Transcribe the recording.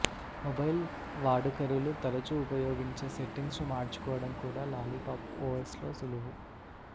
mobile వాడుకరులు తరచు ఉపయోగించే సెట్టింగ్స్ను మార్చుకోవడం కూడా లాలీపాప్ ఓఎస్లో సులువు